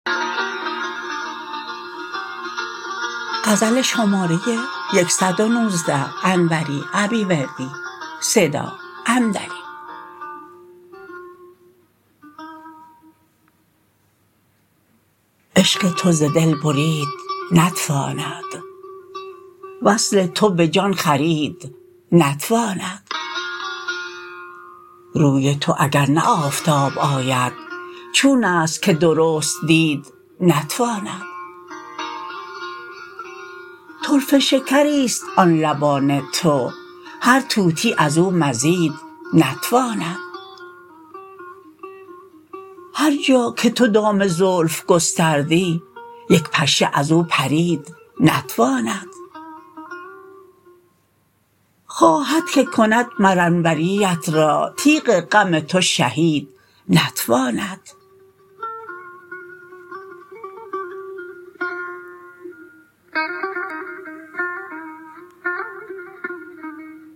عشق تو ز دل برید نتواند وصل تو به جان خرید نتواند روی تو اگر نه آفتاب آید چونست که درست دید نتواند طرفه شکریست آن لبان تو هر طوطی ازو مزید نتواند هرجا که تو دام زلف گستردی یک پشه ازو پرید نتواند خواهد که کند مر انوریت را تیغ غم تو شهید نتواند